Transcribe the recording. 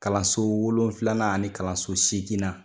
Kalanso wolon filanan ani ni kalanso seginna